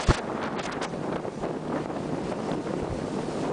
зака закер первый выпуск